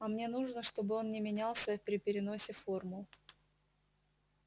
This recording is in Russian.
а мне нужно чтобы он не менялся при переносе формул